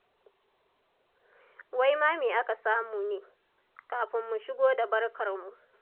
Wai ma me aka samu ne? Kafin mu shigo da barkarmu.